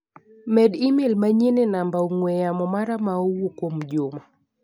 Medi imel manyien e namba ong'ue yamo mara ma owuok kuom Juma.